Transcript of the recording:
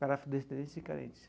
Para afrodescendentes e carentes.